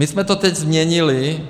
My jsme to teď změnili.